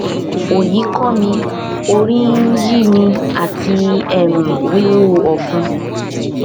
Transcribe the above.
oyi ko mi orí ń yí mi àti um wíwú ọfun